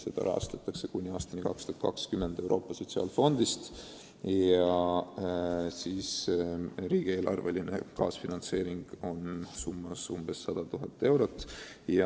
Seda rahastatakse kuni aastani 2020 Euroopa Sotsiaalfondist, riigieelarveline kaasfinantseering on umbes 100 000 eurot.